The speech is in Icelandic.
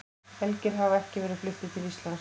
Elgir hafa ekki verið fluttir til Íslands.